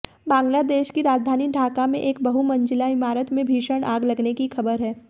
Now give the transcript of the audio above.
बांग्लादेश की राजधानी ढाका में एक बहुमंजिला इमारत में भीषण आग लगने की खबर है